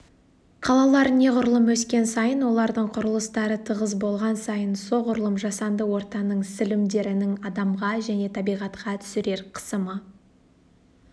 қалалар неғұрлым өскен сайын олардың құрылыстары тығыз болған сайын соғұрлым жасанды ортаның сілімдерінің адамға және табиғатқа түсірер қысымы